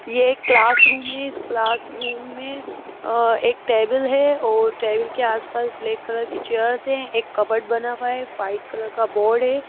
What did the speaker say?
ये एक क्लासरूम है इस क्लासरूम में अ एक टेबल है और टेबल के आसपास ब्लैक कलर की चेयर्स है एक कबर्ड बना हुआ है वाइट कलर का बोर्ड है।